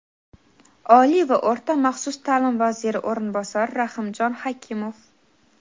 Oliy va o‘rta maxsus ta’lim vaziri o‘rinbosari Rahimjon Xakimov.